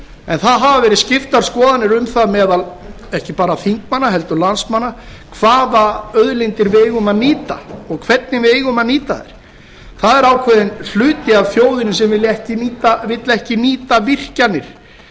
en það hafa verið skiptar skoðanir um það meðal ekki bara þingmanna heldur landsmanna hvaða auðlindir við eigum að nýta og hvernig við eigum að nýta þær það er ákveðinn hluti af þjóðinni sem vill ekki nýta virkjanir